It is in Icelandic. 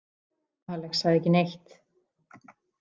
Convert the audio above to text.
Alex sagði ekki neitt.